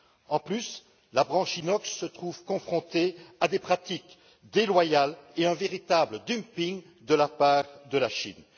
De plus, la branche inox se trouve confrontée à des pratiques déloyales et à un véritable dumping de la part de la Chine.